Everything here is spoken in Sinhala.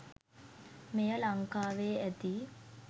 මෙය ලංකාවේ ඇති